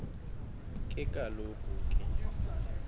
ke kaloku ke